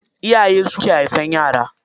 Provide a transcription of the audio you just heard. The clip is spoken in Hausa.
Iyaye su ke haifan yara.